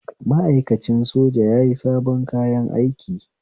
Ma'aikacin soja yayi sabon kayan aiki